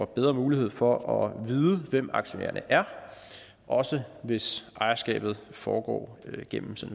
bedre mulighed for at vide hvem aktionærerne er også hvis ejerskabet foregår gennem